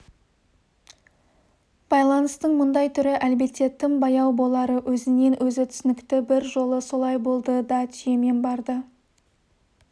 байланыстың мұндай түрі әлбетте тым баяу болары өзінен-өзі түсінікті бір жолы солай болды да түйемен барды